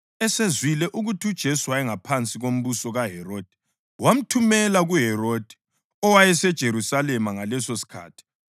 Esezwile ukuthi uJesu wayengaphansi kombuso kaHerodi wamthumela kuHerodi owayeseJerusalema ngalesosikhathi.